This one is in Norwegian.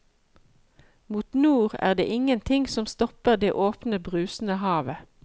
Mot nord er det ingenting som stopper det åpne, brusende havet.